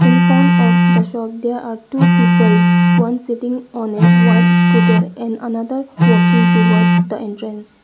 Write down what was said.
Infront of the shop there are two people one sitting on a white scooter and another walking toward the entrance.